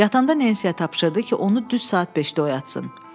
Yatanda Nensiyə tapşırdı ki, onu düz saat beşdə oyatsın.